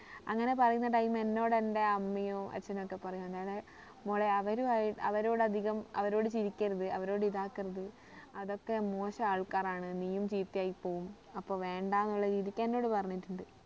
അങ്ങനെ പറയുന്ന time എന്നോട് എന്റെ അമ്മയും അച്ഛനൊക്കെ പറയും അതായത് മോളെ അവരുമായി അവരോട് അധികം അവരോട് ചിരിക്കരുത് അവരോട് ഇതാക്കരുത് അതൊക്കെ മോശം ആൾക്കാരാണ് നീയും ചീത്തയായി പോവും അപ്പൊ വേണ്ട എന്നുള്ള രീതിക്ക് എന്നോട് പറഞ്ഞിട്ടുണ്ട്